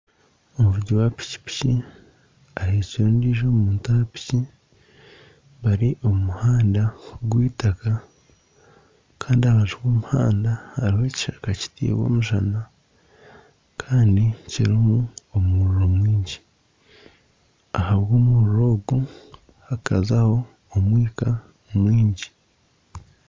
Omuvugi wa pikipiki ahekire ondiijo muntu bari omu muhanda gw'eitaka kandi aha rubaju rw'omuhanda hariho ekishaka kitairwe omushana kandi kirimu omuriro mwingi kandi ahabw'omuriro mwingi hakazaho omwika mwingi